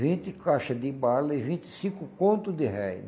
vinte caixa de bala e vinte e cinco conto de réis.